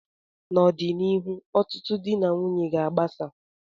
n'ọdịnihu, ọtụtụ di na nwunye ga agbasa